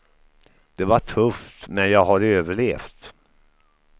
Det var tufft, men jag har överlevt.